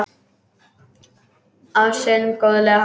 Á sinn góðlega hátt.